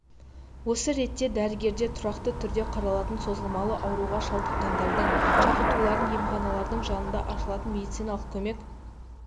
осы ретте дәрігерде тұрақты түрде қаралатын созылмалы ауруға шалдыққандардың шақыртуларын емханалардың жанынан ашылған медициналық көмек